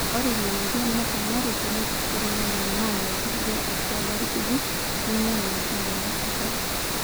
ore ina mweyian nepona tenepiriku ing'onyo naaya osarge atua ilairakuj neinyal metaa meesisho